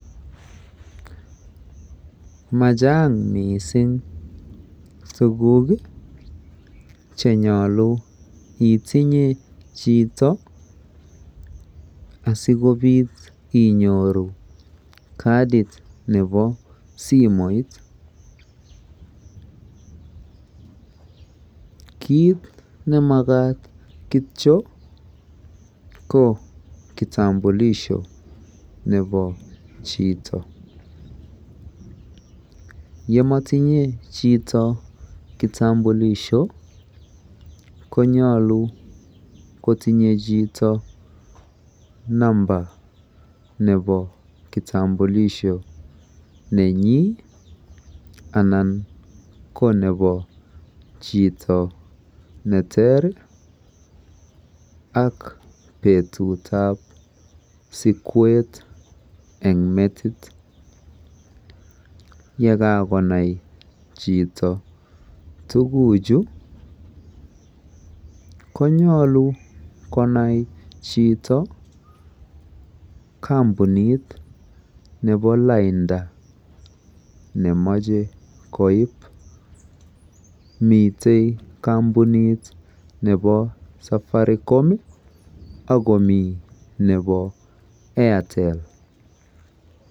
machaang mising tuguk iih chenyolu itinye chito asigobiit kaddit nebo simoit, kiit nemagaat kityo ko kitambulisho nebo chito, yemotinye chito kitambulisho, konyolu kotinye chito number nebo kitambulisho nenyiin anan konebo chito neterr iih ak betutu ab sikweet en metiit yegagonai chito tuguuk chu konyolu konai chito kompuniit nebo lainda nemoche koiib, miten kompunit nebo Safaricom ak komii nebo Airtel.